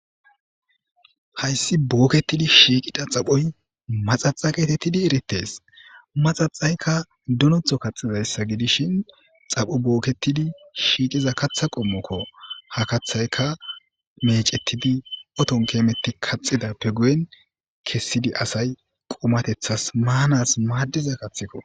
hayssi booketidi shiiqida xaphoy maxaxa geetettidi erites maxaxayka dunotho kaxizayssa gidishin xaphu bookketidi shiiqiza katha qommokko ha kathayka mecettidi oton keemeti kaxidappe guyen kessidi asay qumatethas maanas maaddiza kathikko